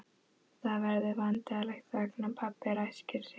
Það verður vandræðaleg þögn og pabbi ræskir sig.